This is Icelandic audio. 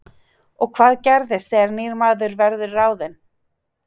Og hvað gerist þegar nýr maður verður ráðinn?